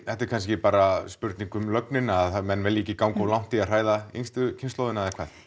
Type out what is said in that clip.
þetta er kannski bara spurning um lögnina að menn vilji ekki ganga of langt í að hræða yngstu kynslóðina eða hvað